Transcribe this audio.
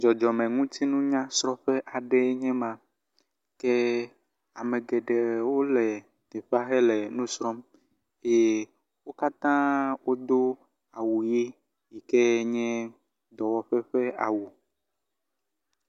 Dzɔdzɔmeŋutiŋunya srɔƒe aɖeɛ nye ma ke amegeɖewo le teƒea hele nusrɔm eye wókatã wodó awu ɣi yikɛ nye dɔwɔƒɛ ƒɛ awu